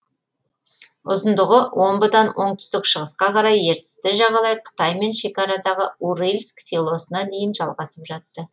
ұзындығы омбыдан оңтүстік шығысқа қарай ертісті жағалай қытаймен шекарадағы урыльск селосына дейін жалғасып жатты